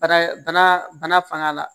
Bana bana bana fanga la